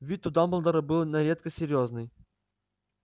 вид у дамблдора был на редкость серьёзный